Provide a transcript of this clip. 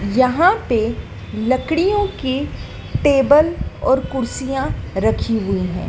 यहां पे लड़कियों के टेबल और कुर्सियां रखी हुई है।